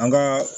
An ka